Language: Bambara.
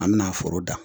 An bɛna foro dan